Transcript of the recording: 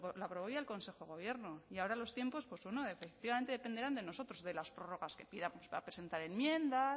lo aprobó ya el consejo de gobierno y ahora los tiempos efectivamente dependerán de nosotros de las prórrogas pidamos para presentar enmiendas